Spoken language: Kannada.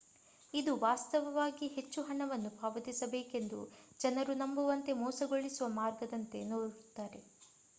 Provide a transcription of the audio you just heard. ಇದು ವಾಸ್ತವವಾಗಿ ಹೆಚ್ಚು ಹಣವನ್ನು ಪಾವತಿಸಬೇಕೆಂದು ಜನರು ನಂಬುವಂತೆ ಮೋಸಗೊಳಿಸುವ ಮಾರ್ಗದಂತೆ ತೋರುತ್ತದೆ